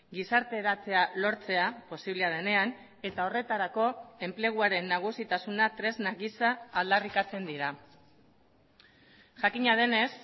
gizarteratzea lortzea posiblea denean eta horretarako enpleguaren nagusitasuna tresna giza aldarrikatzen dira jakina denez